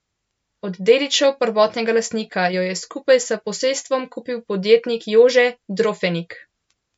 Od dedičev prvotnega lastnika jo je skupaj s posestvom kupil podjetnik Jože Drofenik.